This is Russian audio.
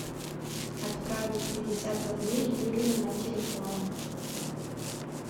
отправить пятьдесят рублей юрию на телефон